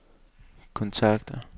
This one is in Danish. kontakter